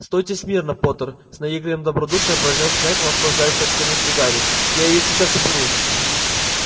стойте смирно поттер с наигранным добродушием произнёс снегг наслаждаясь растерянностью гарри я её сейчас уберу